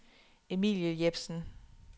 Emilie Jepsen